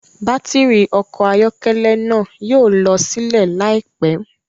Batiri ọkọ ayọkẹlẹ náà yóò lọ silẹ laipẹ